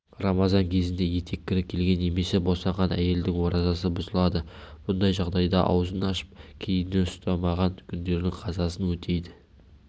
рамазан кезінде етеккірі келген немесе босанған әйелдің оразасы бұзылады мұндай жағдайда аузын ашып кейіннен ұстамаған күндердің қазасын өтейді